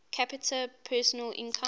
capita personal income